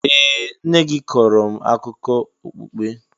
Ee! Nne gị kọọrọ m akụkọ okpukpe.